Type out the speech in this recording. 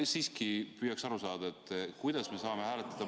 Ma siiski püüaksin aru saada, kuidas me saame hääletada ...